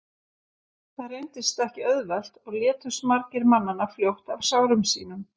það reyndist ekki auðvelt og létust margir mannanna fljótt af sárum sínum